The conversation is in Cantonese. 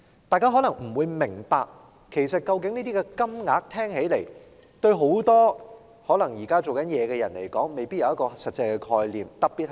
大家聽起來未必明白，而現在很多在職人士其實對這些金額未必有實際概念。